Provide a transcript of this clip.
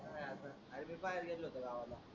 आम्ही बाहेर गेलो होतो गावाला.